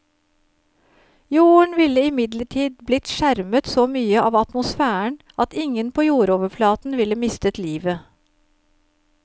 Jorden ville imidlertid blitt skjermet så mye av atmosfæren at ingen på jordoverflaten ville mistet livet.